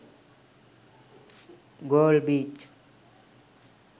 galle beach